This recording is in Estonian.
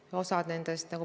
Aitäh, austatud eesistuja!